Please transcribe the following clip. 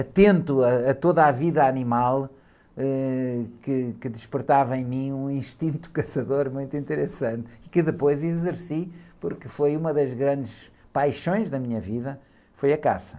atento ãh, a toda a vida animal, eh, que, que despertava em mim um instinto caçador muito interessante, que depois exerci, porque foi uma das grandes paixões da minha vida, foi a caça.